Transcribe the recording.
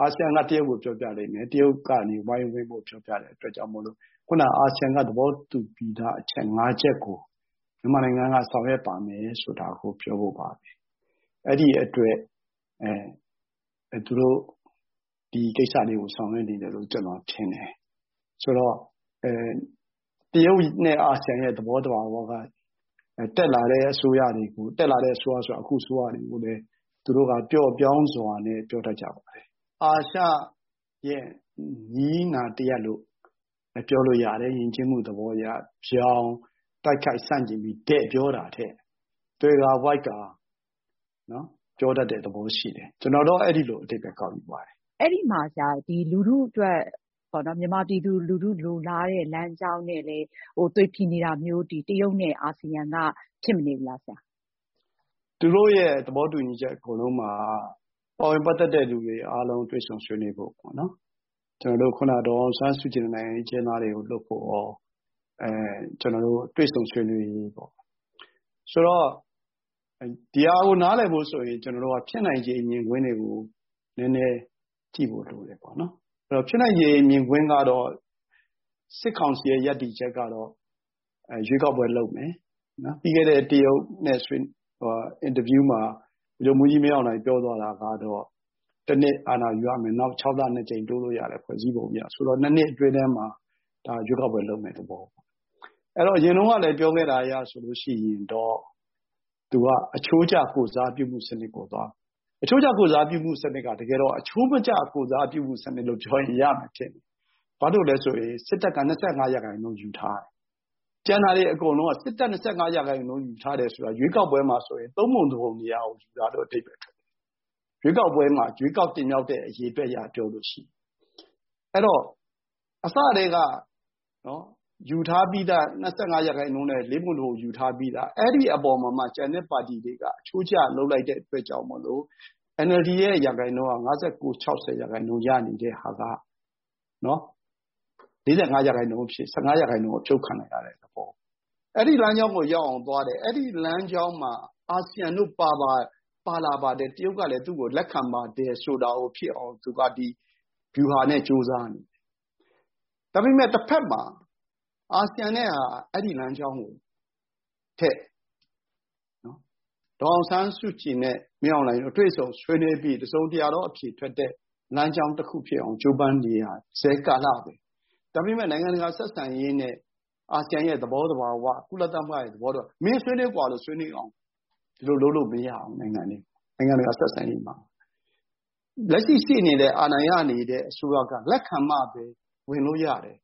အာဆီယံက တရုတ်ကို ပြောပြလိမ့်မယ် ၊ တရုတ်ကနေ ပြောပြတဲ့အတွက်ကြောင့်မို့ ခုနက အာဆီယံက သဘောတူပြီးသား အချက် ၅ ချက်ကို မြန်မာနိုင်ငံက ဆောင်ရွပ်ပါမယ်ဆိုတာ ပြောဖို့ပါပဲ ။ အဲဒီအတွက် ဒီကိစ္စတွေကို ဆောင်ရွက်နေတယ်လို့ ကျနော်ထင်တယ်။ ဆိုတော့ တရုတ်နဲ့ အာဆီယံရဲ့ သဘောသဘာဝက တက်လာတဲ့အစိုးရတွေကို တက်လာတဲ့အစိုးရဆိုတာကလည်း အခုအစိုးရကို သူတို့က ပျော့ပျောင်းစွာနဲ့ ပြောကြပါတယ်။ အာရှရဲ့ နည်းနာတရပ်လို့ပြောလို့ရတယ် ၊ ယဉ်ကျေးမှုသဘောအရ ဗြောင်တိုက်ခိုက်ဆန့်ကျင်ပြီး တည့်ပြောတာထက် သွယ်ဝှိက်ကာ ပြောတတ်တဲ့သဘောရှိတယ် ကျနော်တော့ အဲဒီလိုအဓိပ္ပါယ်ကောက်ယူပါတယ်။ အဲဒီမှာဆရာ မြန်မာပြည်သူလူထုလိုလားတဲ့ လမ်းကြောင်းနဲ့လည်း သွေဖည်နေတာမျိုး တရုတ် နဲ့ အာဆီယံက ဖြစ်မနေဘူးလားဆရာ။ သူတို့ရဲ့ သဘောတူညီချက်အကုန်လုံးမှာ ပါဝင်ပတ်သက်တဲ့သူတွေအကုန်လုံး တွေ့ဆုံဆွေးနွေးဖို့ပေါ့နော် ကျနေ်ာတို့ ဒေါ်အောင်ဆန်းစုကြည်နဲ့ နိုင်ငံရေးအကျဉ်းသားတွေကို လွှတ်ဖို့ရော ကျနော်တို့ တွေ့ဆုံဆွေးနွေးရေးပေါ့။ ဆိုတော့ ဒါကို နားလည်ဖို့ဆိုရင် ကျနော်တို့ ဖြစ်နိုင်ခြေမြင်ကွင်းတွေကို နည်းနည်းကြည့်ဖို့ လိုတယ်ပေါ့နော်။ အဲဒီတော့ ဖြစ်နိုင်ခြေမြင်ကွင်းကတော့ စစ်ကောင်စီရဲ့ ရပ်တည်ချက်ကတော့ ရွေးကောက်ပွဲလုပ်မယ်။ ပြီးခဲ့တဲ့ တရုတ်နဲ့ ဆွေးနွေးပွဲ အင်တာဗျူးမှာ ဗိုလ်ချုပ်မှူးကြီး မင်းအောင်လှိုင်ပြောသွားတာကတော့ ၁ နှစ်အာဏာယူရမယ် နောက် ၆ လ ၂ ကြိမ်တိုးလို့ရတယ် ဖွဲ့စည်းပုံအရ ဆိုတော့ ၂ နှစ်အတွင်းထဲမှာ ဒါရွေးကောက်ပွဲ လုပ်မယ့်သဘောပေါ့နော်။ အဲဒီတော့ အရင်တုန်းကလည်း ပြောခဲ့တဲ့အရဆိုရင်တော့ သူက အချိုးကျ ကိုယ်စားပြုမယ့်စနစ်ပေါ့။ အချိုးကျ ကိုယ်စားပြုမယ့်စနစ်က တကယ်တော့ အချိုးမကျ ကိုယ်စားပြုမယ့်စနစ်လို့ ပြောလို့ရတယ်။ ဘာလို့လဲဆိုရင် စစ်တပ်က ၂၅ ရာခိုင်နှုန်းယူထားတယ်၊ ကျန်တာတွေအကုန်လုံးက စစ်တပ် ၂၅ ရာခိုင်နှုန်းယူထားတယ်ဆိုတာက ရွေးကောက်ပွဲမှာဆိုရင် ၃ ပုံ ၁ ပုံ မရောက်ဘူး အဓိပ္ပါယ် ။ ရွေးကောက်ပွဲမှာ ရွေးကောက်တင်မြောက်တဲ့ အရေအတွက်အရပြောရင်။ အဲဒီတော့ ယူထားပြီးသား ၂၅ ရာခိုင်နှုန်းနဲ့ ၄ ပုံ ၁ ပုံယူထားပြီးသား အဲဒီအပေါ်မှာ ကျန်တဲ့ပါတီတွေက အချိုးကျလုပ်လိုက်တဲ့အတွက်ကြောင့်မို့ NLD ရာခိုင်နှုန်းက ၅၉-၆၀ ရာခိုင်နှုန်းရနေတဲ့ဟာက ၄၅ ရာခိုင်နှုန်းအဖြစ် ၁၅ ရာခိုင်နှုန်း အဖြုတ်ခံရတဲ့သဘော။ အဲဒီလမ်းကြောင်းကိုရောက်အောင်သွားတယ် ၊ အဲဒီလမ်းကြောင်းမှာ အာဆီယံတို့ပါလာတယ်၊ တရုတ်ကလည်း သူ့ကို လက်ခံပါတယ်ဆိုတာကို ဖြစ်အောင် သူ့ပါတီ ဗျူဟာနဲ့ ကြိုးစားနေတယ်။ ဒါပေမယ့် တဖက်မှာ အာဆီယံနဲ့က အဲဒီလမ်းကြောင်းထက် ဒေါ်အောင်ဆန်းစုကြည်နဲ့ မင်းအောင်လှိုင်တွေ့ဆုံဆွေးနွေးပြီး တစုံတရာသော အဖြေထွက်တဲ့ လမ်းကြောင်းတခုဖြစ်အောင်ကြိုးပမ်းနေရစဲ ကာလပဲ။ ဒါပေမယ့် နိုင်ငံတကာဆက်ဆံရေးနဲ့ အာဆီယံရဲ့ သဘောသဘာ၀ ကုလ သဘောသဘာ၀ ဒီအတိုင်းဝင်ဆွေးနွေးလို့မရဘူး၊ ဒီလိုလုပ်လို့မရဘူး နိုင်ငံတကာ ဆက်ဆံရေးမှာ။ လက်ရှိရှိနေတဲ့ အာဏာရနေတဲ့ အစိုးရက လက်ခံမှပဲ ဝင်လို့ရတယ်